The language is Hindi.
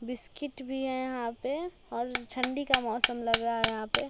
बिस्किट भी है यहाँ पे और ठंडी का मौसम लग रहा है यहाँ पे।